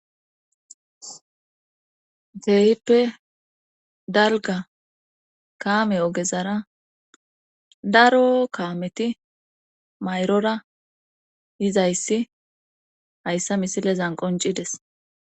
teeyippe dalga kaame ogezara daro kaameti mayrora yizayssi hayssa misile zan qoncides